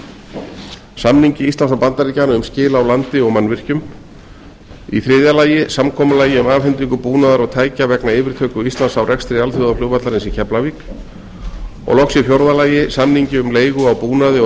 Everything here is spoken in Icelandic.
annar samningur íslands og bandaríkjanna um skil á landi og mannvirkjum þriðja samkomulag um afhendingu búnaðar og tækja vegna yfirtöku íslands á rekstri alþjóðaflugvallarins í keflavík fjórða samningur um leigu á búnaði og